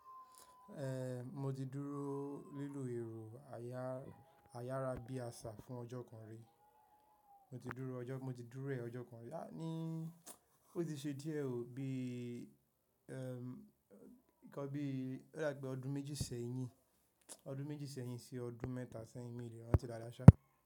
Eh, mo ti dúró lílò èrò ayára bí àṣà fún ọjọ́ kan rí. Mo ti dúrọ́ ọjọ́, mo ti dúrọ̀ ọjọ́ kan rí. A ní ó ti ṣe díẹ̀ ò bí, ẹm, nǹkan bí, ó dà pé ọdún méjì sẹ́yìn, ọdún méjì sẹ́yìn sí ọdún mẹ́ta sẹ́yìn mí le ràntí dáadaa ṣá.